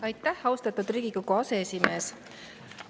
Aitäh, austatud Riigikogu aseesimees!